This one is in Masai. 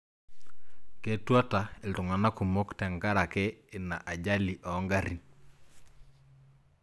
Ketuata iltung'anak kumok tengaraki ina ajali oongarrin